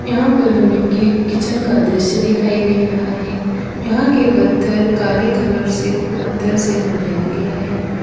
यहां पर हमें ये किचन का दृश्य दिखाई दे रहा है यहां के पत्थर काले कलर से पत्थर से बनाया गया है।